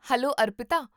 hello, Arpita